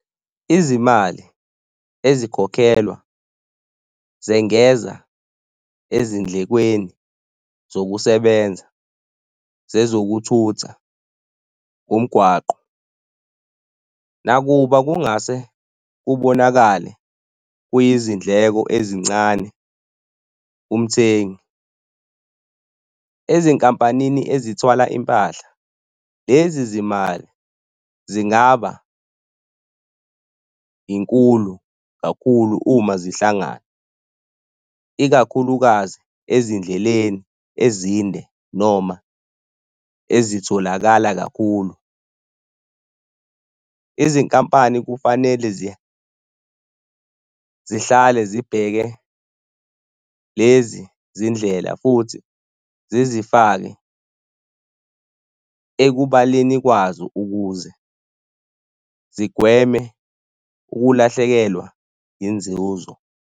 Izimali ezikhokhelwa zengeza ezindlekweni zokusebenza zezokuthutha, umgwaqo. Nakuba kungase kubonakale kuyizindleko ezincane kumthengi, ezinkampanini ezithwala impahla, lezi zimali zingaba inkulu kakhulu uma zihlangana ikakhulukazi ezindleleni ezinde noma ezitholakala kakhulu. Izinkampani kufanele zihlale zibheke lezi zindlela futhi zizifake ekubaleni kwazo ukuze zigweme ukulahlekelwa inzuzo.